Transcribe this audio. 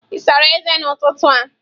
Ị sara ezé n'ụtụtụ a?